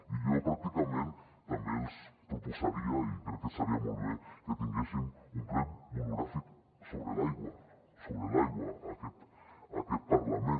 i jo pràcticament també els proposaria i crec que estaria molt bé que tinguéssim un ple monogràfic sobre l’aigua sobre l’aigua en aquest parlament